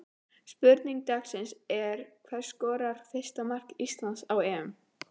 Spurning dagsins er: Hver skorar fyrsta mark Íslands á EM?